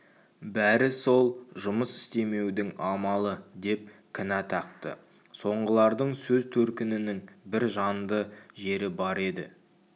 бәрі сол жұмыс істемеудің амалы деп кінә тақты соңғылардың сөз төркінінің бір жанды жері бар еді